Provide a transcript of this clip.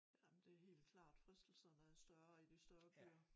Ja men det helt klart fristelserne er større i de større byer